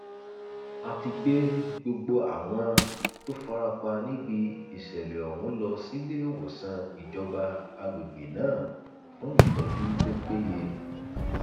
a ti gbé gbogbo àwọn tó fara pa níbi ìsẹlẹ ọhún lọ síléemọsán ìjọba àgbègbè náà fún ìtọjú tó péye